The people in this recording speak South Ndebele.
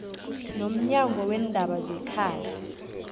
nomnyango weendaba zekhaya